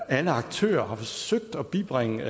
alle aktører har forsøgt at bibringe